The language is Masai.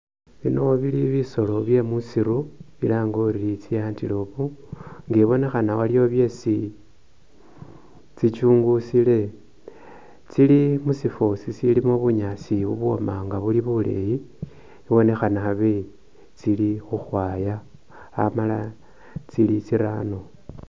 Bino bili bisoolo bye musiru bilange uri tsi antelop nga ibonekhana waliwo byesi tsikyungusile tsili musiifo siliimo bunyaasi bwooma nga buli buleeyi ibonekhana abe tsili khukhwaaya amala tsili tsirano.